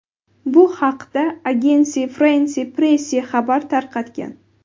Bu haqda Agence France-Presse xabar tarqatgan .